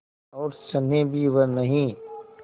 और स्नेह भी वह नहीं